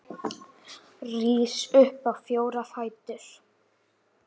Það verður ekki gert núna.